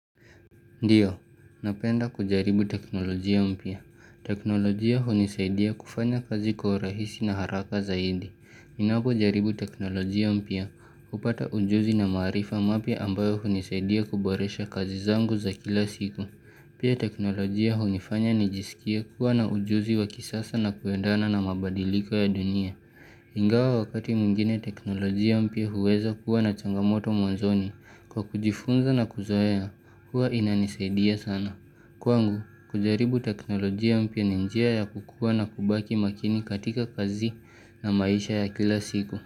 Ndiyo, napenda kujaribu teknolojia mpya. Teknolojia hunisaidia kufanya kazi kwa urahisi na haraka zaidi. Ninapo jaribu teknolojia mpya hupata ujuzi na maarifa mapya ambayo hunisaidia kuboresha kazi zangu za kila siku. Pia teknolojia hunifanya ni jisikie kuwa na ujuzi wa kisasa na kuendana na mabadiliko ya dunia. Ingawa wakati mwingine teknolojia mpya huweza kuwa na changamoto mwanzoni kwa kujifunza na kuzoea, huwa inanisaidia sana. Kwangu, kujaribu teknolojia mpya ni njia ya kukua na kubaki makini katika kazi na maisha ya kila siku.